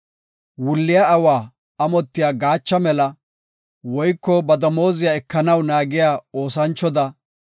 Wulliya awa amotiya gaacha mela, woyko ba damooziya ekanaw naagiya oosanchoda,